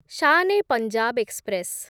Shan e Punjab express